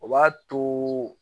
O b'a to